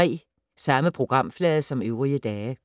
Samme programflade som øvrige dage